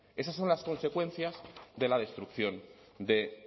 esas son las consecuencias de la destrucción de